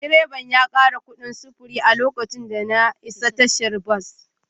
Direba ya kara kudin sufuri a lokacin da na isa tashar bas